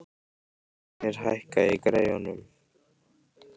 Leiknir, hækkaðu í græjunum.